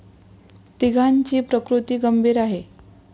तिघांची प्रकृती गंभीर आहे.